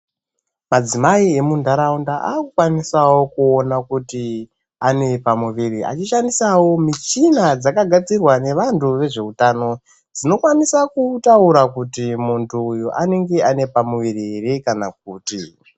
Madzimai emundaraunda akukwanisawo kuona kuti anepamuviri achishandisawo michina dzakagadzirwa nevantu vezveutano dzinokwanisa kutaura kuti muntu uyu anenge ane pamuviri here kana kuti.